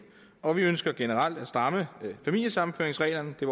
og vi ønsker generelt at stramme familiesammenføringsreglerne det